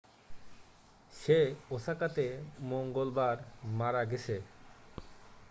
সে ওসাকাতে মঙ্গলবার মারা গেছে